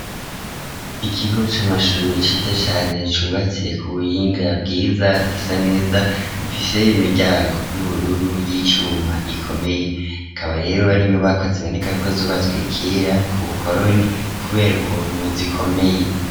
Ikigo c'amashure ciza cane cubatse ku buhinga bwiza, gisa neza, gifiseyo imiryango y'ubururu y'icuma ikomeye, akaba rero ari inyubako ziboneka ko zubatswe kera ku bukoroni kubera ukuntu zikomeye.